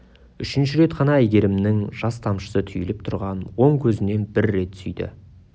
үшінші рет қана әйгерімнің жас тамшысы түйіліп тұрған оң көзінен бір рет сүйді